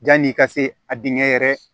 Janni i ka se a dingɛ yɛrɛ